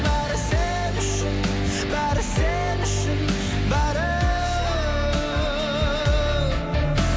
бәрі сен үшін бәрі сен үшін бәрі